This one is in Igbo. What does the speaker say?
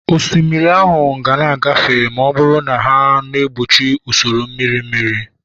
osimiri ahụ ga-agafe ma ọ bụrụ na ha na-egbochi usoro mmiri mmiri